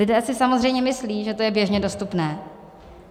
Lidé si samozřejmě myslí, že to je běžně dostupné.